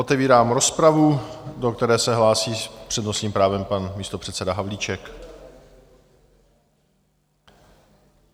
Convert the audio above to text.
Otevírám rozpravu, do které se hlásí s přednostním právem pan místopředseda Havlíček.